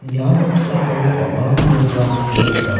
ia noksao bang·a nokrangko nika.